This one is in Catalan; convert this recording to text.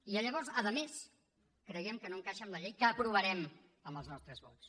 i llavors a més creiem que no encaixa amb la llei que aprovarem amb els nostres vots